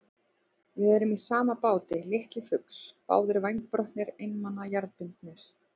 Við erum í sama báti, litli fugl, báðir vængbrotnir, einmana, jarðbundnir.